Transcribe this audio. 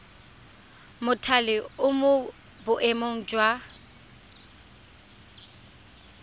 mothale o mo boemong jwa